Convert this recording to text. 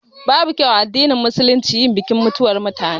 Babu kyau a addinin Musulunci yin bikin mutuwan mutane